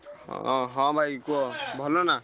ହଁ ହଁ ଭାଇ କୁହ ଭଲନା?